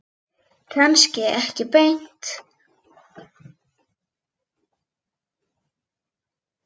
Kannski ekki beint.